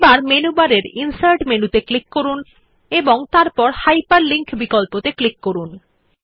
এখন মেনুবার এর ইনসার্ট মেনুতে ক্লিক করুন এবং তারপর হাইপারলিঙ্ক বিকল্পত়ে ক্লিক করুন